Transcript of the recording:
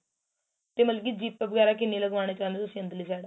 ਤੇ ਮਤਲਬ ਕੀ zip ਵਗੈਰਾ ਕਿੰਨੀ ਲੱਗ ਵਾਣਾ ਚਾਉਂਦੇ ਓ ਤੁਸੀਂ ਅੰਦਰਲੀ side